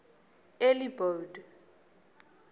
elibode